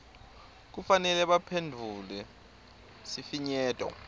kufanele baphendvule sifinyeto